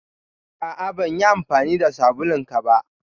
A'a. Ban yi amfani da sabulun ka ba.